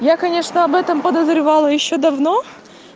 я конечно об этом подозревала ещё давно